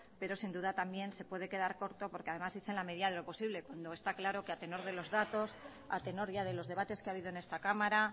pero sin duda también se puede quedar corto porque además dicen en la medida de lo posible cuando está claro que a tenor de los datos a tenor ya de los debates que ha habido en esta cámara